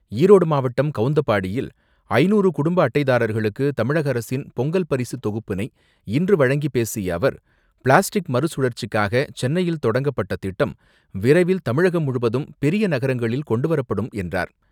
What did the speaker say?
ஈரோடு மாவட்டம், கவுந்தப்பாடியில் ஐநூறு குடும்ப அட்டைதாரர்களுக்கு தமிழக அரசின் பொங்கல் பரிசு தொகுப்பினை இன்று வழங்கி பேசிய அவர், பிளாஸ்டிக் மறு சுழற்சிக்காக சென்னையில் தொடங்கப்பட்ட திட்டம், விரைவில் தமிழகம் முழுவதும் பெரிய நகரங்களில் கொண்டுவரப்படும் என்றார்.